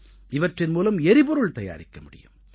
இவற்றின் மூலம் எரிபொருள் தயாரிக்க முடியும்